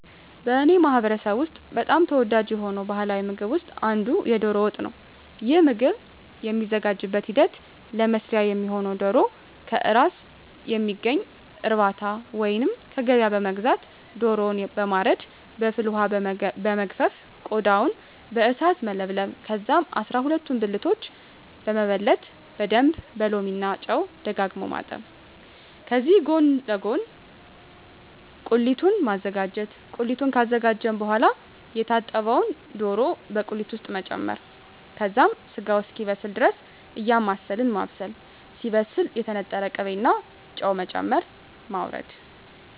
በእኔ ማህበረሰብ ውስጥ በጣም ተወዳጅ የሆነው ባሀላዊ ምግብ ውስጥ አንዱ የዶሮ ወጥ ነው። ይህ ምግብ የሚዘጋጅበት ሂደት ለመስሪያ የሚሆነውነ ዶሮ ከእራስ ከሚገኝ እርባታ ወይንም ከገበያ በመግዛት ዶሮውን በማረድ በፍል ወሀ በመግፈፍ ቆዳውን በእሳት መለብለብ ከዛም አስራሁለቱን ብልቶች በመበለት በደንብ በሎሚ እና ጨው ደጋግሞ ማጠብ ከዚህ ጎን ለጎን ቁሊቱን ማዘጋጀት ቁሊቱን ካዘጋጀን በሆዋላ የታጠበውን ዶሮ በቁሊት ውስጥ መጨመር ከዛም ስጋው እስኪበስል ድረስ እያማሰልን ማብሰል ሲበስል የተነጠረ ቅቤ እና ጨው በመጨመር ማወረድ።